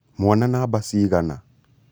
mwana namba cigana?